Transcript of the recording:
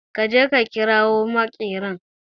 Ka je ka kirawo makerin